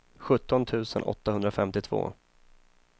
sjutton tusen åttahundrafemtiotvå